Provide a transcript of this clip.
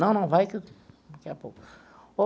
Não, não, vai, que daqui a pouco.